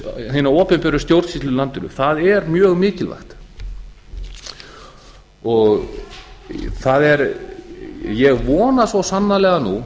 hina opinberu stjórnsýslu í landinu það er mjög mikilvægt ég vona svo sannarlega nú